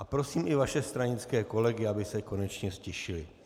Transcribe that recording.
A prosím i vaše stranické kolegy, aby se konečně ztišili.